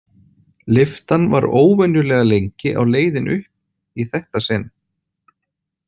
Lyftan var óvenjulega lengi á leiðinni upp í þetta sinn.